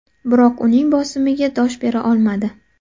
Biroq uning bosimiga dosh bera olmadi.